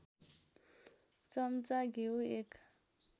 चम्चा घिउ १